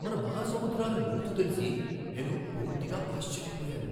మన మహాసముద్రాల లోతు తెలిసి నేను పూర్తిగా ఆశ్చర్యపోయాను!